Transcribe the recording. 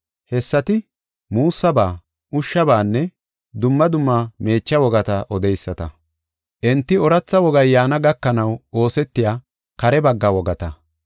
Hessati muussaba, ushshabaanne dumma dumma meecha wogata odeyisata. Enti ooratha wogay yaana gakanaw oosetiya kare bagga wogata.